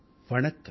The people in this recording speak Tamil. வணக்கம்